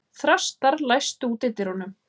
Þrastar, læstu útidyrunum.